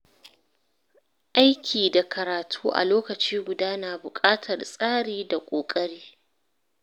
Aiki da karatu a lokaci guda na buƙatar tsari da ƙoƙari.